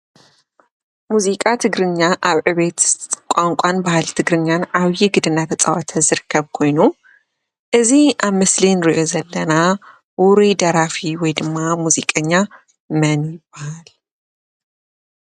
ሙዚቃ ትግርኛ ኣብ ዕብየት ቋንቋን ባህሊ ትግርኛን ዓብይ ግደ እንዳተፃወተ ዝርከብ ኮይኑ እዚ ኣብ ምስሊ ንሪኦ ዘለና ውሩይ ደራፊ ወይ ድማ ሙዚቀኛ መን ይበሃል?